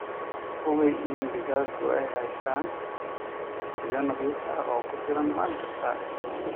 Hubi in digaaggu ay haystaan ??biyo nadiif ah oo ku filan maalin kasta.